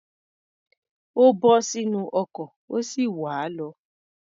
Ó bọ́ sínú ọkọ̀, ó sì wá̀ á lọ.